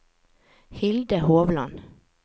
Hilde Hovland